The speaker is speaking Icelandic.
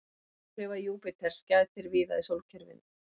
Áhrifa Júpíters gætir víða í sólkerfinu.